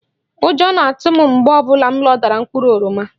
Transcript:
Ụjọ na-atụ m mgbe ọ bụla m loda mkpụrụ oroma